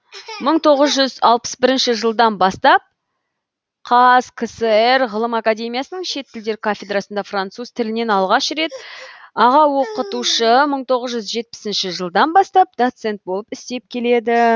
мың тоғыз жүз алпыс бірінші жылдан бастап қазкср ғылым академиясының шет тілдер кафедрасында француз тілінен алғаш рет аға оқытушы мың тоғыз жүз жетпісінші жылдан бастап доцент болып істеп келеді